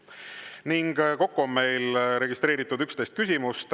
Ning kokku on meil registreeritud 11 küsimust.